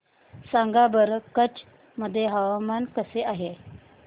सांगा बरं कच्छ मध्ये हवामान कसे आहे